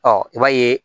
Ɔ i b'a ye